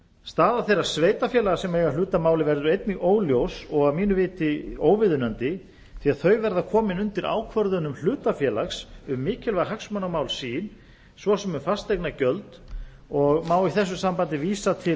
staða þeirra sveitarfélaga sem eiga hlut að máli verður einnig óljós og að mínu viti óviðunandi því að þau verða komin undir ákvörðunum hlutafélags um mikilvæg hagsmunamál sín svo sem um fasteignagjöld og má í þessu sambandi vísa til